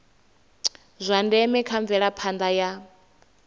zwa ndeme kha mvelaphanda ya